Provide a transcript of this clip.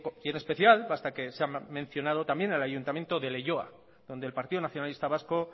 y en especial basta que se ha mencionado también el ayuntamiento de leioa donde el partido nacionalista vasco